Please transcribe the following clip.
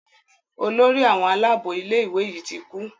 Olórí àwọn Àlàabò ilé ìwé yí tí kú.